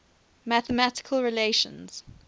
mathematical relations